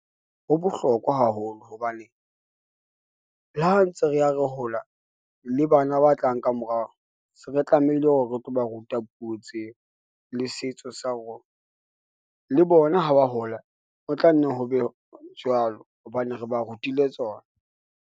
Ho bohlokwa haholo hobane le ha ntse re ya re hola le bana ba tlang ka morao, se re tlamehile hore re tlo ba ruta puo tseo le setso sa rona le bona ha ba hola, ho tla nne ho be jwalo hobane re ba rutile tsona.